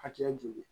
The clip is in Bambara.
Hakɛya joli